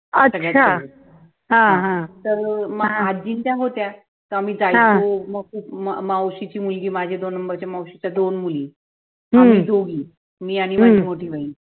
अच्छा हा हा हा